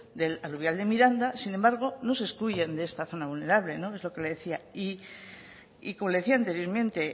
del aluvial de miranda sin embargo no se excluyen de esta zona vulnerables no es lo que le decía y como le decía anteriormente